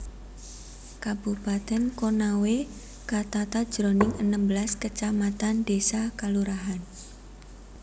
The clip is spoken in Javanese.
Kabupatèn Konawe katata jroning enem belas kacamatan désa/kalurahan